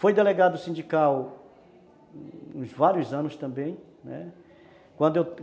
Foi delegado sindical uns vários anos também, né, quando